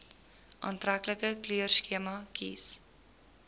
aantreklike kleurskema kies